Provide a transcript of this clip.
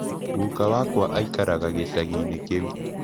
Guka wakwa aikaraga gĩcagi-inĩ kĩu.